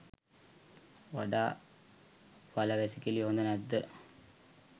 වඩා වලවැසිකිළි හොඳ නැද්ද?